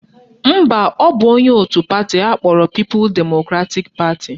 Mba, ọ bụ onye otu pati akpọrọ People Democratic Party